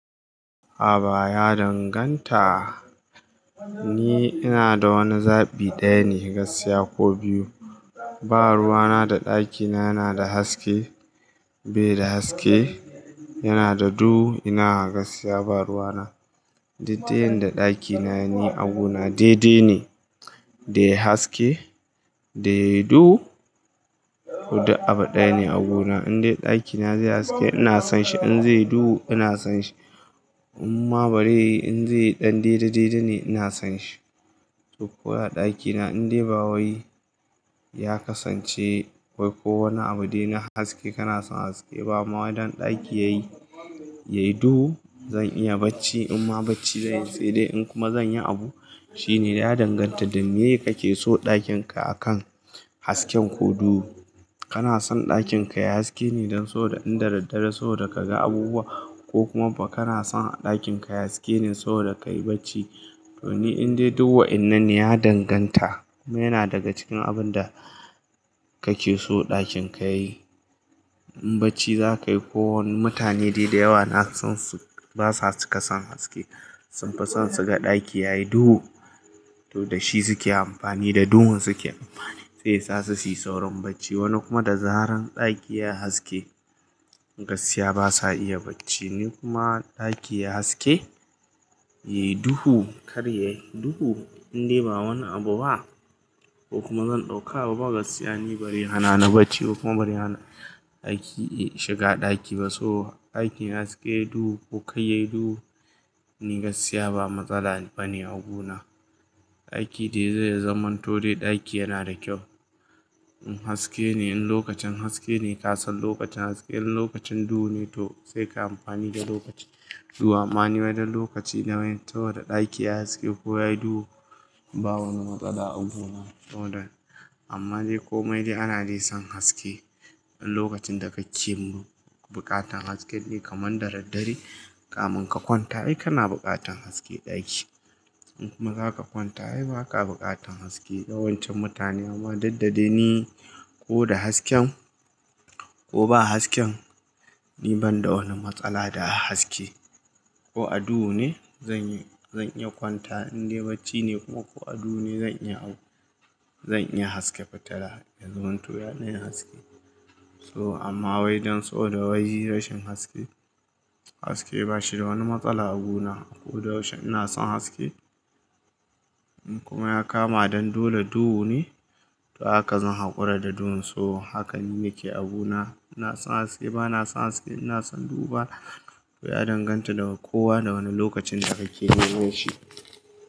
Aba ya danganta, ni ina da wani zabi ɗaya ne gaskiya ko biyu. Ba ruwa na da ɗakina yana da haske, bai da haske, yana da duhu ina gaskiya ba ruwa na. Didde yan da ɗakina yayi ni a gona de-de ne, da yay haske da yay duhu. Duk abu ɗaya ne a gona, in dai ɗakina zai haske ina son shi, in zai duhu ina son shi. Amma bari in zai ɗan didde didde ne ina son shi. To ko a ɗakina in dai bawai ya kasance wai ko wani abu dai na haske kana son haske. Ba ma wai dan ɗaki yayi, yayi duhu zan iya bacci in ma bacci zan yi sai dai in kuma zan yi abu. Shi ne ya danganta da me ye kake so ɗakin ka akan hasken ko duhu. Kana son ɗakin ka yayi haske ne don soboda in da daddare soboda ka ga abubuwa ko kuma ba kana son ɗakin ka yayi haske ne so da ka yi bacci. To ni in dai du wa'inna ne ya danganta. Me yana daga cikin abun da kake so ɗakin ka yayi. In bacci za ka yi kowani mutane dai da yawa na son su basa cika san haske. Sun fi san su ga ɗaki yayi duhu. To da shi su ke amfani, da duhun su ke amfani. Sai sa su su yi saurin bacci. Wani kuma da zaran ɗaki yayi haske gaskiya basa iya bacci. Ni kuma ɗaki yayi haske, yayi duhu, kar yayi duhu in dai ba wani abu ba ko kuma zan ɗauka abu ba gaskiya ni bare hana na bacci ko kuma bari hana ɗaki, eh shiga ɗaki ba. So ɗakin yayi haske, duhu ko kai yayi duhu ni gaskiya ba matsala bane a gona. Ɗaki dai zai zamanto dai ɗaki yana da kyau. In haske ne, in lokacin haske ne ka san lokacin haske. In lokacin duhu ne toh sai ka yi amfani da lokacin. Toh amma ni wai don lokaci ne wain saboda ɗaki yayi haske ko yayi duhu, ba wani matsala a guna. Amma dai ko mai dai ana dai son haske. In lokacin da kake bu, buƙatan hasken ne kamar da daddare, kamun ka kwanta ai kana buƙatan haske ɗaki. In kuma za ka kwanta ai ba ka buƙatan haske. Yawancin mutane, amma duddade ni ko da hasken ko ba hasken ni ban da wani matsala da haske. Ko a duhu ne zan yi, zan iya kwanta in dai bacci ne kuma ko a duhu ne zan iya abu. Zan iya haska fitila ya zamanto ya ɗan yi haske. To amma wai dan saboda wai rashin haske, haske ba shi da wani matsala a guna. Ko da yaushe ina son haske. In kuma ya kama dan dole duhu ne, to haka zan haƙura da duhun. To haka ni nake abuna. Ina son haske, bana son haske, ina son duhu ba. To ya danganta da kowa da wane lokacin da kake neman shi.